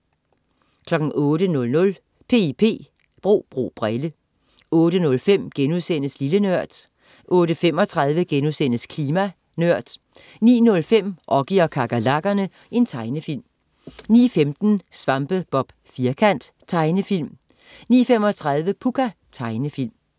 08.00 P.I.P. Bro bro brille 08.05 Lille Nørd* 08.35 Klima Nørd* 09.05 Oggy og kakerlakkerne. Tegnefilm 09.15 Svampebob Firkant. Tegnefilm 09.35 Pucca. Tegnefilm